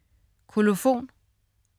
Kolofon